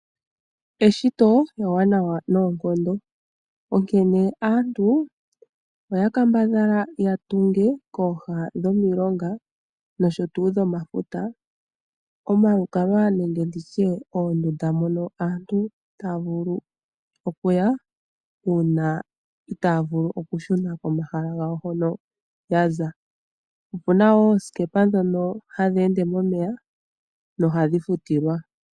Eshito ewanawa noonkondo, onkene aantu oyakambadhala yatunge kominkulo dhomilonga nenge dhomafuta oondunda dhamalukalwa nenge dhokulala mono aantu taavulu okuya ngele itaavulu okushuna komahala ngawo hono yaza. Opuna woo oosikepa ndhoka hadheende momeya nohadhi futilwa.